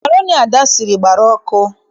Makroni Ada siri, gbara ọkụ.